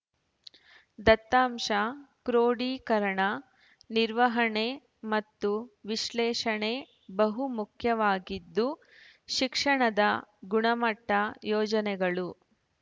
ದತ್ತಾಂಶ ಕ್ರೋಡೀಕರಣ ನಿರ್ವಹಣೆ ಮತ್ತು ವಿಶ್ಲೇಷಣೆ ಬಹು ಮುಖ್ಯವಾಗಿದ್ದು ಶಿಕ್ಷಣದ ಗುಣಮಟ್ಟ ಯೋಜನೆಗಳು